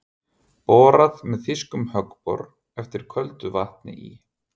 Borað með þýskum höggbor eftir köldu vatni í